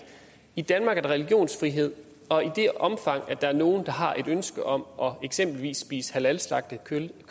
i danmark er der religionsfrihed og i det omfang der er nogen der har et ønske om eksempelvis at spise halalslagtet kød